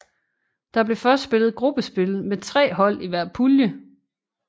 Der blev først spillet gruppespil med tre hold i hver pulje